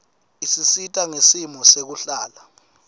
isisita ngesimo sekuhlala